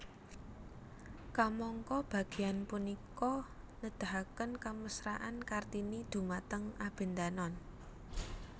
Kamangka bagéan punika nedahaken kamesraan Kartini dhumateng Abendanon